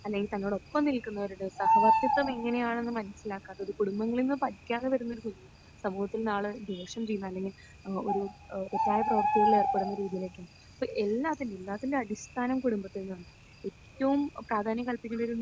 അല്ലെങ്കിൽ തന്നോടൊപ്പം നിൽക്കുന്നവരോട് സഹവർത്തിത്വം എങ്ങനെയാണെന്ന് മനസ്സിലാക്കാത്തവരോട് കുടുംബങ്ങളിൽ നിന്ന് പഠിക്കാതെ വരുന്നൊരു കുഞ്ഞ് സമൂഹത്തിൽ നാളെ ദോഷം ചെയ്യുന്നു, അല്ലെങ്കിൽ ഒരു തെറ്റായ പ്രവൃത്തികളിൽ ഏർപ്പെടുന്ന രീതിയിലേക്ക്. അപ്പോൾ എല്ലാത്തിനും എല്ലാത്തിന്റെയും അടിസ്ഥാനം കുടുംബത്തിൽ നിന്നാണ്. ഏറ്റവും പ്രാധാന്യം കല്പിക്കേണ്ടൊരു